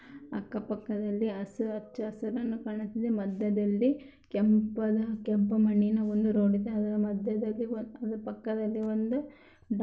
ಅಕ್ಕಪಕ್ಕದಲ್ಲಿ ಹಚ್ಚಹಸಿರು ಕಾಣುತಿದೆ ಮಧ್ಯದಲ್ಲಿ ಕೆಂಪಾದ ಕೆಂಪು ಮಣ್ಣಿನ ಒಂದು ರೋಡ್‌ ಇದೆ ಅದರ ಮಧ್ಯದಲ್ಲಿ ಅದರ ಪಕ್ಕದಲ್ಲಿ ಒಂದು ಡಾಂ.